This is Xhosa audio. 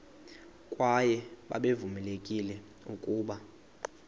kwaye babevamelekile ukuba